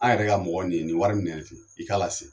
An yɛrɛ ka mɔgɔ nin ye nin wari minɛ ten i k'a lase